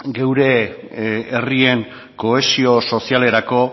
gure herrien kohesio sozialerako